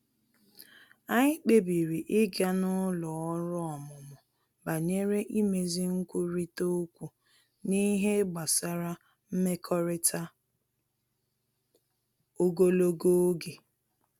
Anyị kpebiri ịga n’ụlọ ọrụ ọmụmụ banyere imezi nkwurịta okwu n’ihe gbasara mmekọrịta ogologo oge